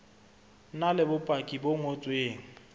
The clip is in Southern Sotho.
na le bopaki bo ngotsweng